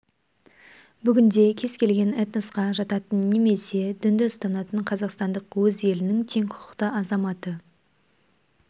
бүгінде кез келген этносқа жататын немесе дінді ұстанатын қазақстандық өз елінің тең құқықты азаматы